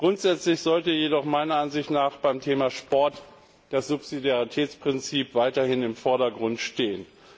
Grundsätzlich sollte jedoch meiner Ansicht nach beim Thema Sport das Subsidiaritätsprinzip weiterhin im Vordergrund stehen.